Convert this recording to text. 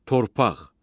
Torpaq.